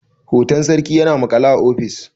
hoton sarki yana maƙale a ofis